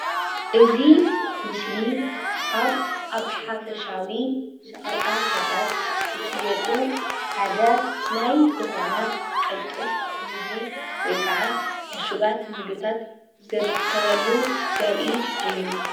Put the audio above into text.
እዚ ምስሊ ካብ ኣብ ሓፈሻዊ ሸቀጣሸቀጥ ዝሽየጡ ሓደ ናይ ዝኾነ ቅልጡፍ ምግቢ ወይ ከዓ ዕሹጋት ምግብታት ዝርከበሉ ዘርኢ እዩ ።